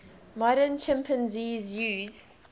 modern chimpanzees use